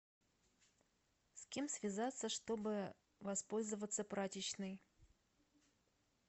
с кем связаться чтобы воспользоваться прачечной